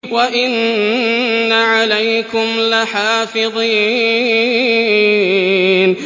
وَإِنَّ عَلَيْكُمْ لَحَافِظِينَ